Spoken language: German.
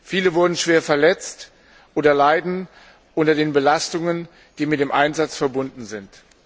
Viele wurden schwer verletzt oder leiden unter den Belastungen, die mit dem Einsatz verbunden sind.